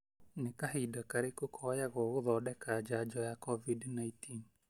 Nĩ kahinda karĩkũ koyagwo gũthondeka njanjo ya Covid-19?